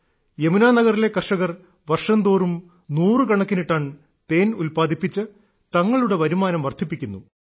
യമുനാ നഗറിലെ കർഷകർ വർഷം തോറും നൂറുകണക്കിന് ടൺ തേൻ ഉല്പാദിപ്പിച്ച് തങ്ങളുടെ വരുമാനം വർദ്ധിപ്പിക്കുന്നു